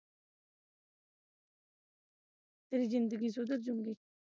ਤੇਰੀ ਜਿੰਦਗੀ ਸੁਧਰ ਜਾਊਗੀ।